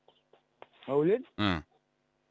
маулен і